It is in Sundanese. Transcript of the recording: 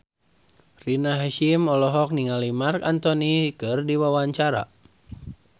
Rina Hasyim olohok ningali Marc Anthony keur diwawancara